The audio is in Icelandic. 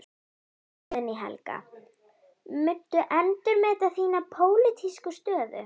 Guðný Helga: Muntu endurmeta þína pólitísku stöðu?